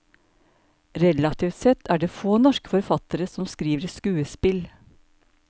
Relativt sett er det få norske forfattere som skriver skuespill.